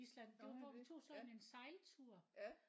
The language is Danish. Gjorde I det ja ja